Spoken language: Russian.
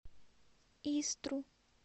истру